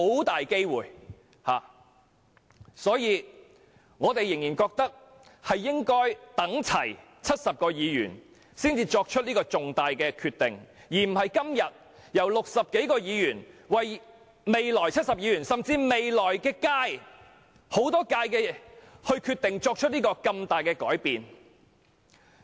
因此，我們仍然認為應齊集70名議員才作出如此重大的決定，而非由今天60多名議員為未來70名甚或未來多屆的議員決定作出如此重大的改變。